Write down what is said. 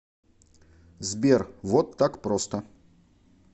сбер вот так просто